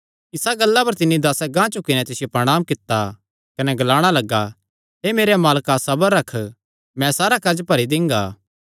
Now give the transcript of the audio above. इसा गल्ला पर तिन्नी दासें गांह झुकी नैं तिसियो प्रणांम कित्ता कने ग्लाणा लग्गा हे मेरेया मालका सबर रख मैं सारा कर्ज भरी दिंगा